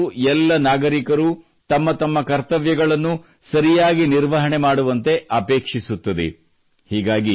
ಸಂವಿಧಾನವು ಎಲ್ಲ ನಾಗರಿಕರು ತಮ್ಮ ತಮ್ಮ ಕರ್ತವ್ಯಗಳನ್ನು ಸರಿಯಾಗಿ ನಿರ್ವಹಣೆ ಮಾಡುವಂತೆ ಅಪೇಕ್ಷಿಸುತ್ತದೆ